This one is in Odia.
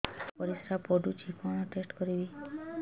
ମୋର ପରିସ୍ରା ପୋଡୁଛି କଣ ଟେଷ୍ଟ କରିବି